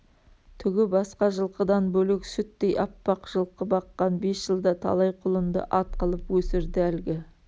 түгі басқа жылқыдан бөлек сүттей аппақ жылқы баққан бес жылда талай құлынды ат қылып өсірді әлгі